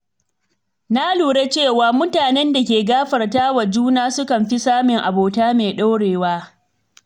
Na lura cewa mutanen da ke gafartawa juna sukan fi samun abota mai ɗorewa.